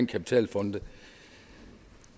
kapitalfonde